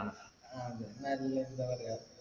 ആഹ് അതെ നല്ല എന്താ പറയാ